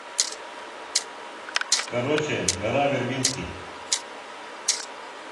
короче гора вербински